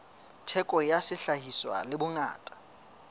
theko ya sehlahiswa le bongata